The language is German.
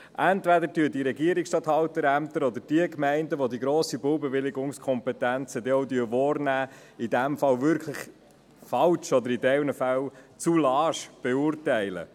Entweder beurteilen es die Regierungsstatthalterämter oder die Gemeinden, die die grossen Baubewilligungskompetenzen denn auch wahrnehmen, in diesem Fall wirklich falsch oder in einigen Fällen zu lasch.